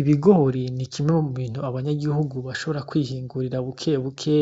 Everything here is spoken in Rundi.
Ibigori ni kimwe mu bintu abanya gihugu bashobora kwihingurira bukebuke